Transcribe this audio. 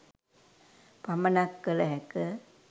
පමණක් කල හැක